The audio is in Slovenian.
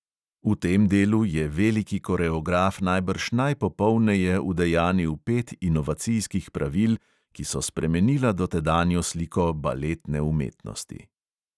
V tem delu je veliki koreograf najbrž najpopolneje udejanil pet inovacijskih pravil, ki so spremenila dotedanjo sliko baletne umetnosti.